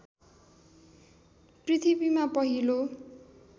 पृथ्वीमा पहिलो